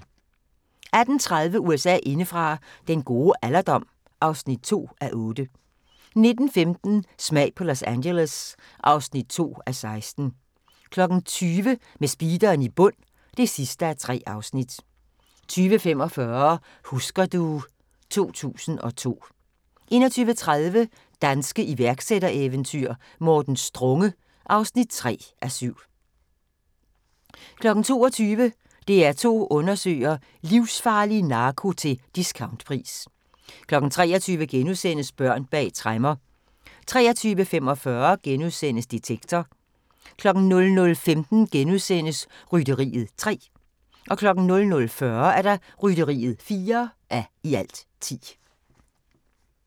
18:30: USA indefra: Den gode alderdom (2:8) 19:15: Smag på Los Angeles (2:16) 20:00: Med speederen i bund (3:3) 20:45: Husker du ... 2002 21:30: Danske iværksættereventyr - Morten Strunge (3:7) 22:00: DR2 undersøger: Livsfarlig narko til discountpris 23:00: Børn bag tremmer * 23:45: Detektor * 00:15: Rytteriet (3:10)* 00:40: Rytteriet (4:10)